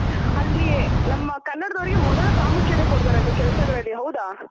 ಅಲ್ಲಿ ನಮ್ಮ ಕನ್ನಡದವರಿಗೆ ಮೊದಲ ಪ್ರಾಮುಖ್ಯತೆ ಕೊಡ್ತಾರಂತೆ ಕೆಲಸಗಳಲ್ಲಿ ಹೌದ.